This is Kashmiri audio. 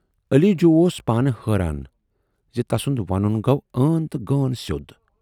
"علی جوٗ اوس پانہٕ حٲران زِ تسُند ونُن گَو عٲن تہٕ غٲن سیود۔